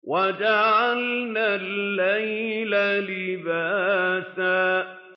وَجَعَلْنَا اللَّيْلَ لِبَاسًا